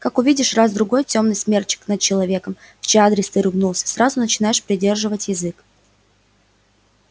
как увидишь раз другой тёмный смерчик над человеком в чей адрес ты ругнулся сразу начинаешь придерживать язык